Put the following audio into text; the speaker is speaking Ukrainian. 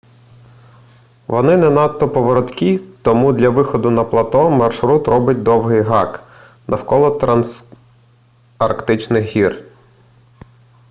вони не надто повороткі тому для виходу на плато маршрут робить довгий гак навколо трансарктичних гір